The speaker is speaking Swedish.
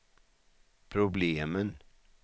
problemen